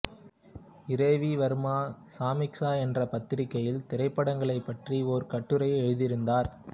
இரவி வர்மா சமீக்சா என்ற பத்திரிகையில் திரைப்படங்களைப் பற்றி ஒரு கட்டுரையை எழுதியிருந்தார்